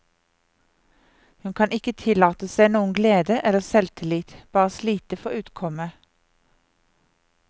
Hun kan ikke tillate seg noen glede eller selvtillit, bare slite for utkommet.